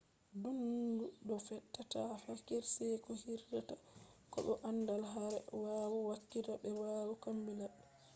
nuddindo do tefa kirseeku hirrita ko bo andal hader waayu hakika/be lawru ko labbi